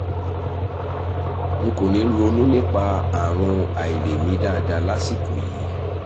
n kò ní ronú nípa àrùn àìlèmí dáadáa lásìkò yìí